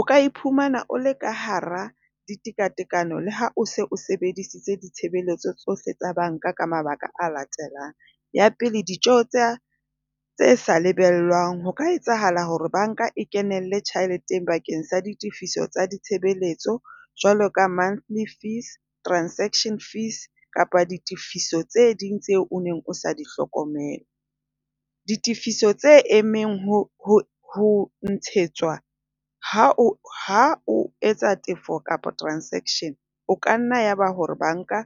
O ka iphumana o le ka hara ditekatekano le ha o se o sebedisitse ditshebeletso tsohle tsa banka ka mabaka a latelang. Ya pele. Ditjeo tse tse sa lebellwang. Ho ka etsahala hore banka e kenelle tjheleteng bakeng sa ditefiso tsa ditshebeletso jwalo ka monthly fees, transaction fees, kapa ditefiso tse ding tseo o neng o sa di hlokomele. Ditefiso tse emeng ho ho ho ntshetsetswa ha o ha o etsa tefo kapa transaction, o ka nna ya ba hore banka